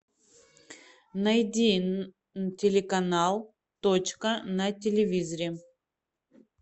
найди телеканал точка на телевизоре